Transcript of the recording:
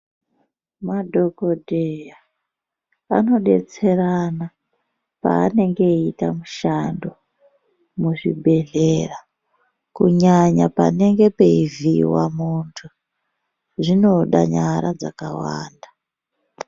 Mandokodheya anodetserana paanonge eyiita mushando muzvibhedhlera kunyanya panonge peivhiiwa muntu zvinoda nyara dzakawanda.